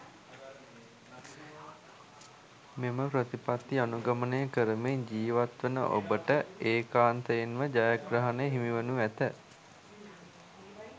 මෙම ප්‍රතිපත්ති අනුගමනය කරමින් ජීවත් වන ඔබට ඒකාන්තයෙන්ම ජයග්‍රහණය හිමිවනු ඇත.